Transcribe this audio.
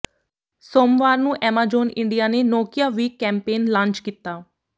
ਸੋਮਵਾਰ ਨੂੰ Amazon India ਨੇ ਨੋਕੀਆ ਵੀਕ ਕੈਂਪੇਨ ਲਾਂਚ ਕੀਤਾ